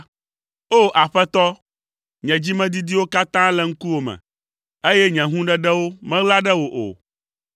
O! Aƒetɔ, nye dzimedidiwo katã le ŋkuwò me, eye nye hũɖeɖewo meɣla ɖe wò o.